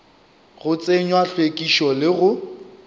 go tsenywa hlwekišo le go